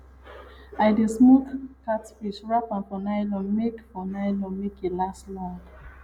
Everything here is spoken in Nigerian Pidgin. i dey smoke catfish wrap am for nylon make for nylon make e last long